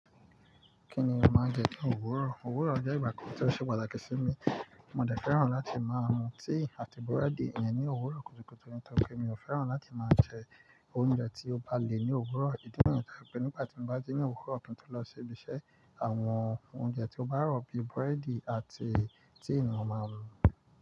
Kí ni majẹ ní òwúrọ̀? Òwúrọ̀ jẹ́ ìgbà kan tí ó ṣe pàtàkì sí mi. Mo dẹ̀ fẹ́ràn láti máa mu tíì àti búrẹ́dì yẹn ní òwúrọ̀ kùtùkùtù nítorí pé mi ò fẹ́ràn láti máa jẹ oúnjẹ tí ó bá le ní òwúrọ̀. Idi nìyẹn pelu pé nígbà tí mo bá ji ní òwúrọ̀ kinto lọ sí ibi iṣẹ́, àwọn oúnjẹ tí ó bá rọ̀ bíi búrẹ́dì àti tíì ni mo ma mu.